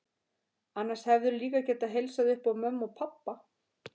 Annars hefðirðu líka getað heilsað upp á mömmu og pabba.